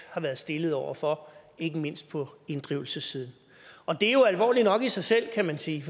har været stillet over for ikke mindst på inddrivelsessiden og det er jo alvorligt nok i sig selv kan man sige